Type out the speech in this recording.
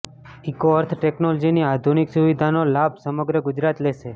eco earth ટેકનોલોજીની આધુનકિ સુવિધાનો લાભ સમગ્ર ગુજરાત લેશે